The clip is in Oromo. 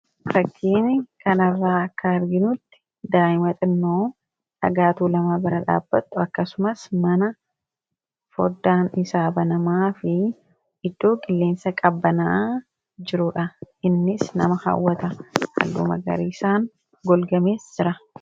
rakkiin kanarraa akka arginutti daa'ima xinnoo dhagaatuu lama bara dhaabbattu akkasumas mana foddaan isaaba namaa fi iddoo gilleensa qabbanaa jiruudha innis nama kaawwata allumagariisaan golgamees jira